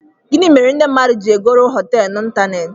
Gini mere ndi mmadu ji egoro hotéélu na ịntanetị?